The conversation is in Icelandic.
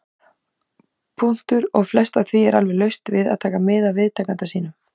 . og flest af því er alveg laust við að taka mið af viðtakanda sínum.